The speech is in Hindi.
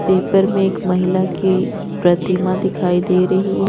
पेपर में एक महिला की प्रतिमा दिखाई दे रही है।